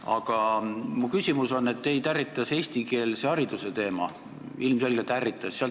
Aga mu küsimus on, et teid ärritas eestikeelse hariduse teema – ilmselgelt ärritas.